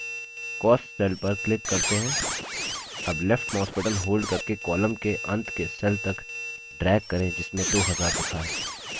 अब left mouse button hold करके column के अंत के cell तक drag करें जिसमें 2000 लिखा है